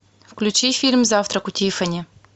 включи фильм завтрак у тиффани